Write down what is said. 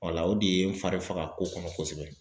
o de ye n fari faga kosɛbɛ kosɛbɛ.